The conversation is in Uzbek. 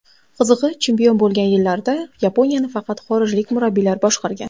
Qizig‘i, chempion bo‘lgan yillarda Yaponiyani faqat xorijlik murabbiylar boshqargan .